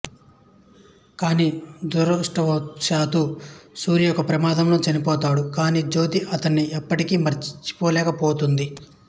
కాని దురదృష్టవశాత్తు సూర్య ఒక ప్రమాదంలో చనిపోతాడు కానీ జ్యోతి అతడి ని ఇప్పటికి మరచిపొలేకపొతుంది